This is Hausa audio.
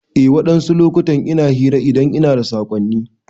Eh wadansu lokutan ina hira idan ina da sakonni.